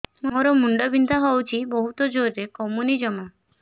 ମୋର ମୁଣ୍ଡ ବିନ୍ଧା ହଉଛି ବହୁତ ଜୋରରେ କମୁନି ଜମା